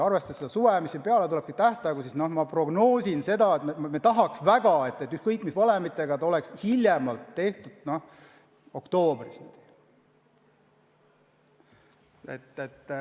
Arvestades aga suve, mis peale tuleb, ja ka tähtaegu, siis ma prognoosin seda, õigemini me tahaks väga, et ükskõik mis valemiga lõppotsus saaks tehtud hiljemalt oktoobris.